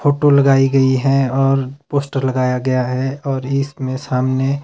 photo लगाई गई है और पोस्टर लगाया गया है और इसमें सामने--